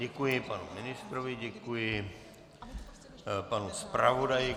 Děkuji panu ministrovi, děkuji panu zpravodaji.